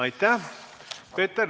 Aitäh!